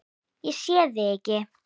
Ég sé þig ekki.